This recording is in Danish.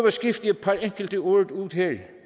at skifte et par enkelte ord ud